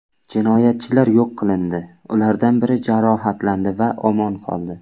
Jinoyatchilar yo‘q qilindi, ulardan biri jarohatlandi va omon qoldi.